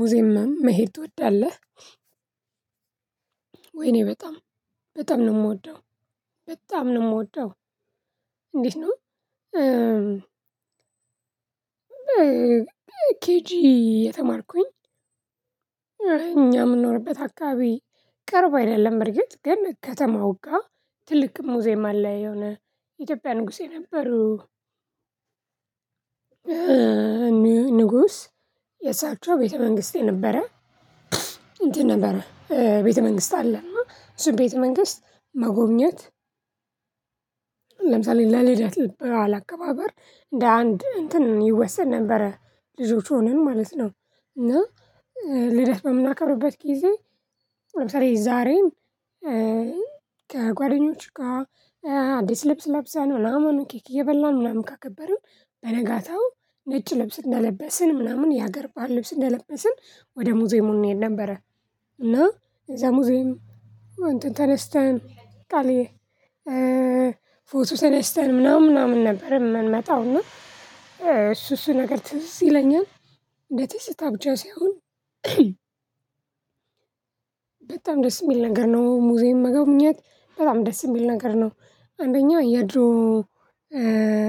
ሙዚየም ምናምን መሄድ ትወዳለህ? ወይኔ በጣም በጣም ነው የምወደው በጣም ነው የምወደው። እንዴት ነው? ኬጂ እየተማርኩኝ እኛ የምንኖርበት አካባቢ ቅርብ አይደለም በርግጥ ገና ከተማው ጋር ትልቅ ሙዚየም አለ የሆነ የኢትዮጵያ ንጉስ የነበሩ ንጉስ የሳቸው ቤተ መንግስት የነበረ እንትን ነበረ ቤተ መንግስት አለ እሱን ቤተ መንግስት መጎብኘት። ለምሳሌ ለልደት በዓል አከባበር እንደ አንድ እንትን ይወሰን ነበረ ልጆች ሆነን ማለት ነው። እና ልደት በምናከርበት ጊዜ ለምሳሌ ዛሬም ከጓደኞች ጋር አዲስ ልብስ ለብሰን ነው ምናምን ኬክ እየበላን ምናምን ካከበረን በነጋታው ነጭ ልብስ እንደለበስን ምናምን የሀገር ባህል ልብስ እንደለበስን ወደ ሙዚየሙ እንሄድ ነበረ። እና የዛ ሙዚየም እንትን ተነስተን ፎቶ ተነስተን ምናምን ምናምን ነበር የምንመጣው እና እሱ እሱ ነገር ትዝ ይለኛል። እንደ ትዝታ ብቻ ሳይሆን በጣም ደስ የሚል ነገር ነው ሙዚየም መጎብኘት በጣም ደስ የሚል ነገር ነው። አንደኛው የድሮ